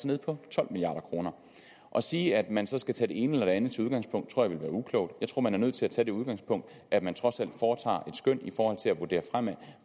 nede på tolv milliard kroner at sige at man så skulle tage det ene eller det andet som udgangspunkt tror jeg vil være uklogt jeg tror man er nødt til at tage det udgangspunkt at man trods alt foretager skøn i forhold til at vurdere